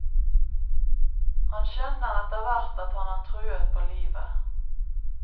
Han skjønner etterhvert at han er truet på livet.